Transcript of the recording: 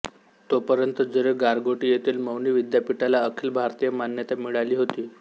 तोपर्यंत जरी गारगोटी येथील मौनी विद्यापीठाला अखिल भारतीय मान्यता मिळाली होती